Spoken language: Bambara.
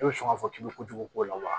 E bɛ sɔn ka fɔ k'i bɛ kojugu k'o la wa